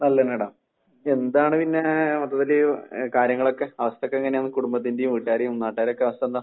നല്ലത് തന്നെയാടാ. എന്താണ് പിന്നെ മൊത്തത്തില് കാര്യങ്ങളൊക്കെ അവസ്ഥക്കോ എങ്ങനെയാണ്? കുടുംബത്തിന്റെയും, വീട്ടുകാരെയും, നാട്ടുകാരെക്കെ അവസ്ഥ എന്താ?